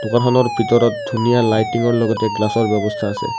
দোকানখনৰ ভিতৰত ধুনীয়া লাইটিংৰ লগতে গ্লাছৰ ব্যৱস্থা আছে।